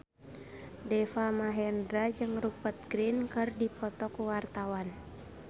Deva Mahendra jeung Rupert Grin keur dipoto ku wartawan